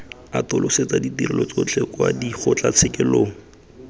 atolosetsa ditirelo tsotlhe kwa dikgotlatshekelong